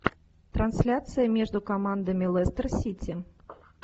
трансляция между командами лестер сити